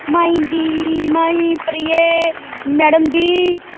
My ਦੀ my ਪਰੀਏ madam ਜੀ।